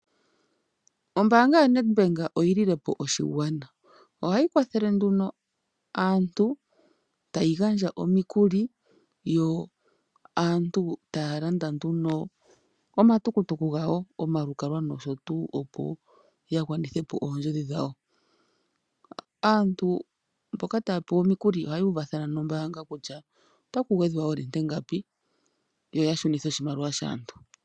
Ombaanga yo Nedbank oyi li lepo oshigwana. Ohayi kwathele nduno aantu, tayi gandja omikuli, yo aantu taya landa nduno omatukutuku gawo, omalukalwa nosho tuu opo ya gwanithe po oondjodhi dhawo. Aantu mboka ta ya pewa omikuli ohaya uvathana nombaanga kutya otaku gwedhwa oolinte ngapi yo ya shunithe oshimaliwa shaantu.